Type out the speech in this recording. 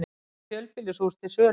Heilt fjölbýlishús til sölu